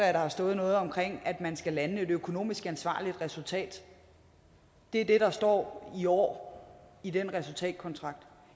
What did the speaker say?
har stået noget om at man skal lande et økonomisk ansvarligt resultat det er det der står i år i den resultatkontrakt